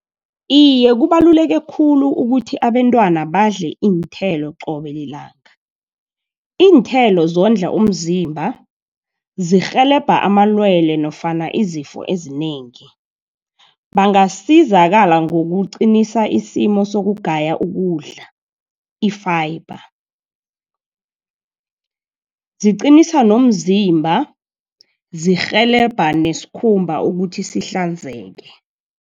Iye, kubaluleke khulu ukuthi abentwana badle iinthelo qobe lilanga. Iinthelo zondla umzimba, zirhelebha amalwele, nofana izifo ezinengi. Bangasizakala ngokuqinisa isimo sokugaya ukudla i-Fiber. Ziqinisa nomzimba, zirhelebha neskhumba ukuthi sihlanzeke.